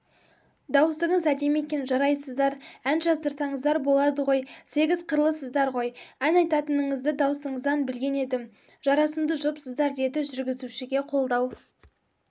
дауысыңыз әдемі екен жарайсыздар ән жаздырсаңыздар болады ғой сегіз қырлысыздар ғой ән айтатыныңызды дауысыңыздан білген едім жарасымды жұпсыздар деді жүргізушіге қолдау